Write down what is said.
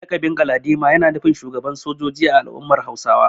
Lakabin Galadima yana nufin shugaban sojoji a al’ummar Hausawa.